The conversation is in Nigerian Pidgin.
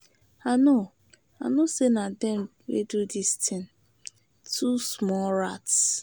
I know I know say na dem wey do dis thing. Two small rats.